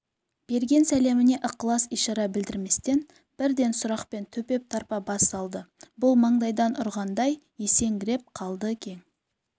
берген сәлеміне ықылас-ишара білдірместен бірден сұрақпен төпеп тарпа бас салды бұл маңдайдан ұрғандай есеңгіреп қалды кең